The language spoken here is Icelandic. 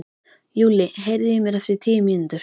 Júlli, heyrðu í mér eftir tíu mínútur.